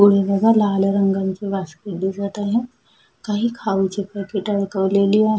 लाल रंगाचे बास्केट दिसत आहे काही खाऊ ची पॅकेट अडकवलेली आहे.